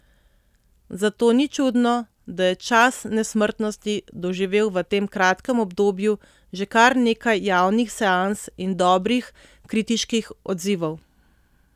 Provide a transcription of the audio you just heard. Zato ni čudno, da je Čas nesmrtnosti doživel v tem kratkem obdobju že kar nekaj javnih seans in dobrih kritiških odzivov.